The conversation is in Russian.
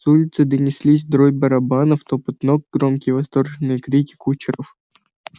с улицы донеслись дробь барабанов топот ног громкие восторженные крики кучеров